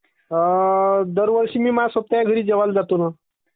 दरवर्षी मया सोबत्या घरी जेवाय जातो ना..